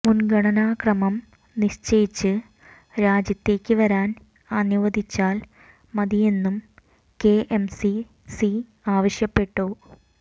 മുൻഗണനാ ക്രമം നിശ്ചയിച്ച് രാജ്യത്തേക്ക് വരാൻ അനുവദിച്ചാൽ മതിയെന്നും കെഎംസി സി ആവശ്യപ്പെട്ടു